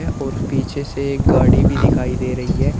और पीछे से एक गाड़ी भी दिखाई दे रही है।